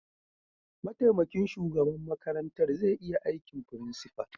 Mataimakin shugaban makarantar zai iya aikin principal.